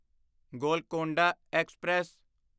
Golconda express